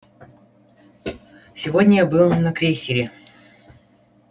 сегодня я был на крейсере